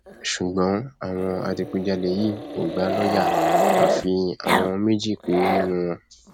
ṣùgbọn àwọn adigunjalè yìí kò gbà lọọyà àfi àwọn méjì péré nínú wọn